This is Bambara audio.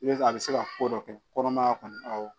I bɛ a bɛ se ka ko dɔ kɛ kɔnɔmaya kɔnɔ awɔ